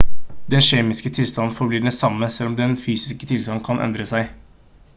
den kjemiske tilstanden forblir den samme selv om dens fysiske tilstand kan endre seg